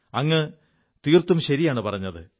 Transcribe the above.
അങ്ങ് തീർത്തും ശരിയാണു പറഞ്ഞത്